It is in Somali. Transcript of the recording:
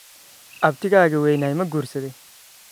Abtigaga weynaa ma guursaday?